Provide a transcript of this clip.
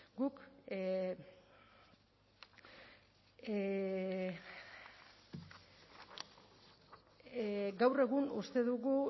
guk gaur egun uste dugu